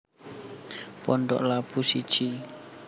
Pondok Labu siji